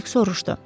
Dik soruşdu.